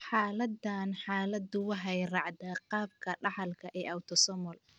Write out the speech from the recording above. Xaaladahan, xaaladdu waxay raacdaa qaabka dhaxalka ee autosomal.